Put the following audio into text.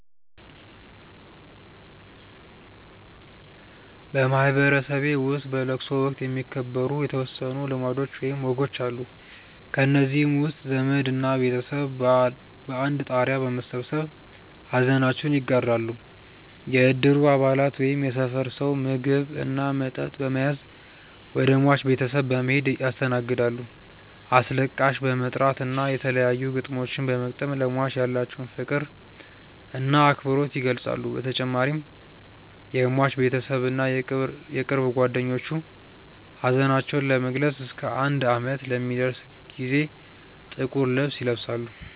በማህበረሰቤ ውስጥ በለቅሶ ወቅት የሚከበሩ የተወሰኑ ልማዶች ወይም ወጎች አሉ። ከእነዚህም ውስጥ ዘመድ እና ቤተሰብ በአንድ ጣሪያ በመሰብሰብ ሐዘናቸውን ይጋራሉ፣ የእድሩ አባላት ወይም የሰፈር ሰው ምግብ እና መጠጥ በመያዝ ወደ ሟች ቤተሰብ በመሔድ ያስተናግዳሉ፣ አስለቃሽ በመጥራት እና የተለያዩ ግጥሞችን በመግጠም ለሟች ያላቸውን ፍቅር እና አክብሮት ይገልፃሉ በተጨማሪም የሟች ቤተሰብ እና የቅርብ ጓደኞቹ ሀዘናቸውን ለመግለፅ እስከ አንድ አመት ለሚደርስ ጊዜ ጥቁር ልብስ ይለብሳሉ።